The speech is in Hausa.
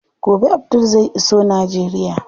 Gobe Abdul zai iso Najeriya.